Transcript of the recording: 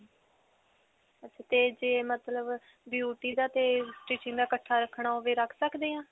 ਤੇ ਜੇ ਮਤਲਬ beauty ਦਾ ਤੇ stitching ਕਾ ਇਕੱਠਾ ਰਖਣਾ ਹੋਵੇ. ਰੱਖ ਸਕਦੇ ਹਾਂ?